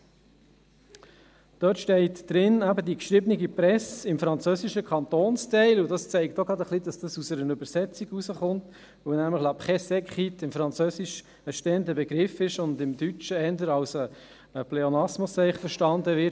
In diesem steht, die geschriebene Presse im französischen Kantonsteil – dies zeigt, dass es aus einer Übersetzung kommt, weil «la presse écrite» im Französischen ein stehender Begriff ist und im Deutschen eher als Pleonasmus verstanden wird.